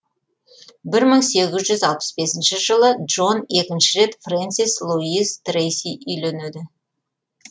бір мың сегіз жүз алпыс бесінші жылы джон екінші рет фрэнсис луиз трейси үйленеді